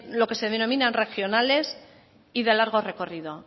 lo que se denominan regionales y de largo recorrido